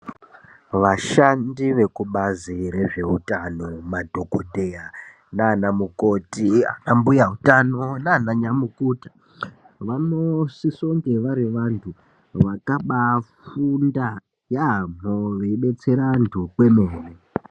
Vashandi vekubazi rezveutano, madhokodheya naana mukhoti, ana mbuya utano naana nyamukuta vanosise kunge vari vantu vakabaa funda yaamho veibetsera vantu kwemene.